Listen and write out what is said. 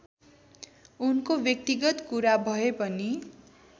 उनको व्यक्तिगत कुरा भएपनि